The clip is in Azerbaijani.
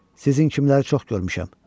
Sizinki kimləri çox görmüşəm.